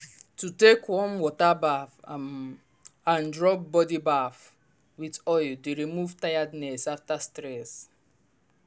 to take warm water baff um and rub body bath with oil dey remove tiredness after stress.